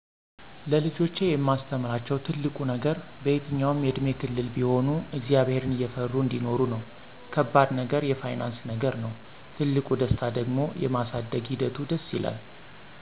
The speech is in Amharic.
ለልጆቼ የማስተምራቸው ትልቁ ነገር በየትኛውም የእድሜ ክልል ቢሆኑ እግዚአብሔርን እየፈሩ አንዲኖሩ ነው። ከባድ ነገር የፋይናንስ ነገር ነው፤ ትልቁ ደስታ ደሞ የማሳደግ ሒደቱ ደስ ይላል።